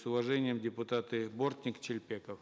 с уважением депутаты бортник шелпеков